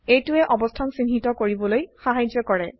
এইটোৱে অবস্থান চিহ্নিত কৰিবলৈ সাহায্য কৰে